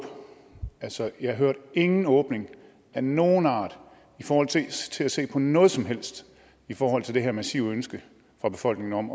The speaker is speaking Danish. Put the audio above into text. altså jeg hørte ingen åbning af nogen art i forhold til til at se på noget som helst i forhold til det her massive ønske fra befolkningen om